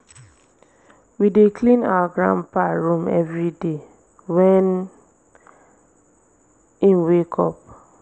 we dey clean our granpa room everyday wen im wake up.